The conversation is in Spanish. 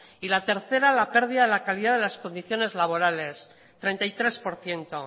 y la tercera la pérdida de la calidad de las condiciones laborales treinta y tres por ciento